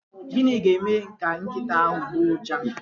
Gịnị ga-eme ka nkịta ahụ agbọọ uja?